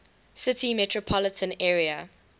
city metropolitan area